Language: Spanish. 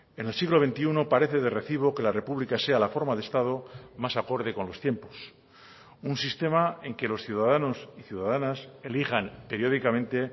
en el siglo veintiuno parece de recibo que la república sea la forma de estado más acorde con los tiempos un sistema en que los ciudadanos y ciudadanas elijan periódicamente